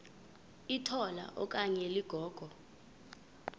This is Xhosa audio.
litola okanye ligogo